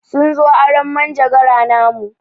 Sun zo arron manjegara namu.